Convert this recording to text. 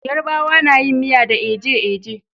Yarabawa nayin miya da eje-eje